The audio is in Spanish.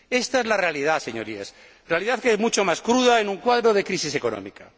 Esta es la realidad, Señorías, la realidad que es mucho más cruda en un cuadro de crisis económica.